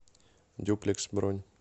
дюплекс бронь